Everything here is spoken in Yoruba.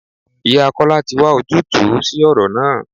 Ìyá Kọ́lá tí wá ojútùú sí ìṣòro náà.